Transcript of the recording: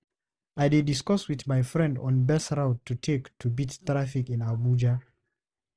I dey discuss with my friend on best route to take to beat traffic in Abuja.